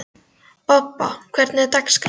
Bobba, hvernig er dagskráin?